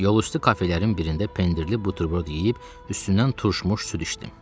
Yolüstü kafelərin birində pendirli buterbrot yeyib üstündən turşumuş süd içdim.